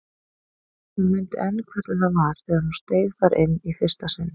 Hún mundi enn hvernig það var þegar hún steig þar inn í fyrsta sinn.